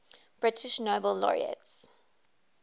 british nobel laureates